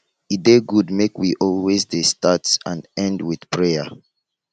e dey good make wealways dey start and end with prayer